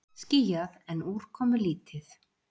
Skýjað en úrkomulítið